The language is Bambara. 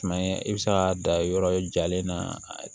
Tuma ye i bɛ se ka dan yɔrɔ jalen na